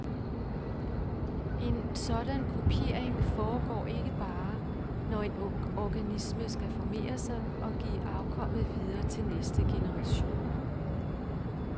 En sådan kopiering foregår ikke bare, når en organisme skal formere sig og give afkommet videre til næste generation.